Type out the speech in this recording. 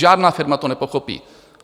Žádná firma to nepochopí.